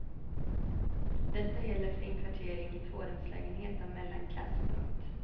Detta gäller för inkvartering i tvårumslägenhet av mellanklass. punkt